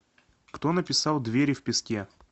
кто написал двери в песке